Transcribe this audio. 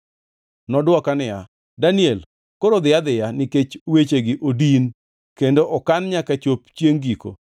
Nodwoka niya, “Daniel, koro dhi adhiya, nikech wechegi odin kendo okan nyaka chop chiengʼ giko.